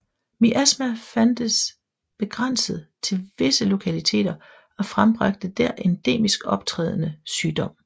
Miasma fandtes begrænset til visse lokaliteter og frembragte der endemisk optrædende sygdom